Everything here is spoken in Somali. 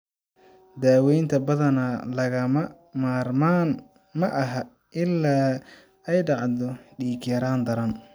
Daawaynta badanaa lagama maarmaan ma aha ilaa ay dhacdo dhiig-yaraan daran.